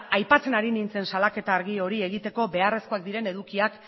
aipatzen ari nintzen salaketa argi hori egiteko beharrezkoak diren edukiak